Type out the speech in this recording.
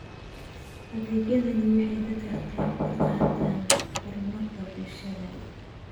Adeegyadani waxay ka qayb qaataan horumarka bulshada.